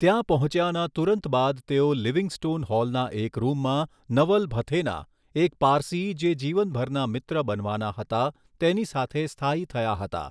ત્યાં પહોંચ્યાના તુરંત બાદ તેઓ લિવિંગસ્ટૉન હૉલના એક રૂમમાં નવલ ભથેના, એક પારસી જે જીવનભરના મિત્ર બનવાના હતા, તેની સાથે સ્થાયી થયા હતા.